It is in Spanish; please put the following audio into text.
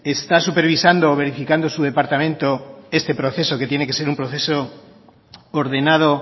está supervisando o verificando su departamento este proceso que tiene que ser un proceso ordenado